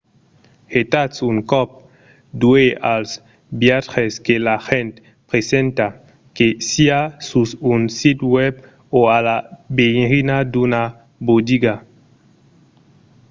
getatz un còp d'uèlh als viatges que l'agent presenta que siá sus un sit web o a la veirina d'una botiga